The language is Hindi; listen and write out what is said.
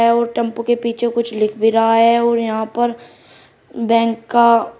अउर टेंपो के पीछे कुछ लिख भी रहा है अउर यहां पर बैंक का--